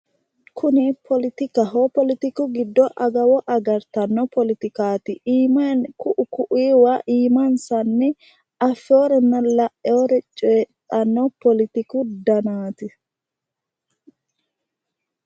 Kuni politikaho politiku gido adawo agartanno politikaati iimaani ku'u ku'uyiwa iimansanni afeorenna la'eore coyidhano politiku daannati.